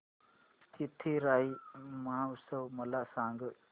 चिथिराई महोत्सव मला सांग